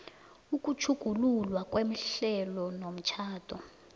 ukutjhugululwa kwehlelo lomtjhado